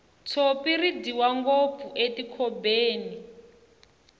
tshopi ri dyiwa ngopfu etikhombeni